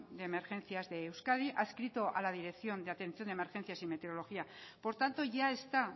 de emergencias de euskadi adscrito a la dirección de atención de emergencias y meteorología por tanto ya está